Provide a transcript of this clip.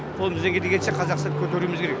қолымыздан келгенше қазақстанды көтеруіміз керек